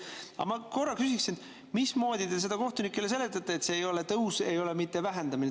Aga ma küsiksin, mismoodi te kohtunikele seletate, et see ei ole tõus, aga ei ole ka mitte vähendamine.